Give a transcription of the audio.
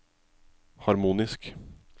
harmonisk